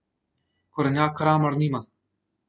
Korenjak Kramar nima.